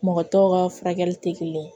Mɔgɔ tɔw ka furakɛli tɛ kelen ye